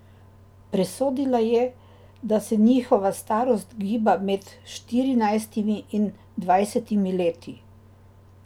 Presodila je, da se njihova starost giba med štirinajstimi in dvajsetimi leti.